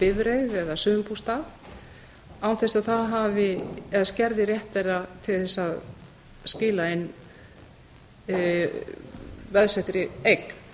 bifreið eða sumarbústað án þess að það skerði rétt þeirra til þess að skila inn veðsettri eign